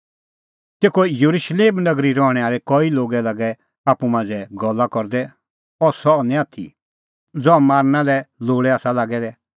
तेखअ येरुशलेम नगरी रहणैं आल़ै कई लोग लागै आप्पू मांझ़ै गल्ला करदै अह सह ई निं आथी ज़हा मारना लै लोल़ै आसा लागै दै